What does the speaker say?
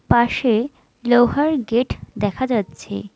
পাশে লোহার গেট দেখা যাচ্ছে।